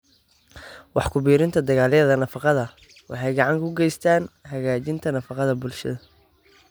Wax ku biirinta Dalagyada Nafaqada waxay gacan ka geystaan ??hagaajinta nafaqada bulshada.